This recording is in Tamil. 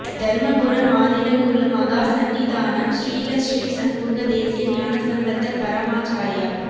தருமபுரம் ஆதீன குரு மகா சந்நிதானம் ஸ்ரீலஸ்ரீ சண்முக தேசிய ஞானசம்பந்த பரமாச்சாரியாா்